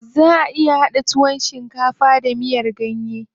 Zaʼa iya haɗa tuwon shinkafa da miyar ganye.